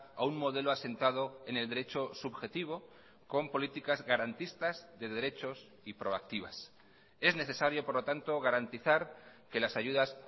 a un modelo asentado en el derecho subjetivo con políticas garantistas de derechos y proactivas es necesario por lo tanto garantizar que las ayudas